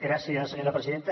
gràcies senyora presidenta